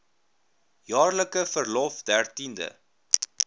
jaarlikse verlof dertiende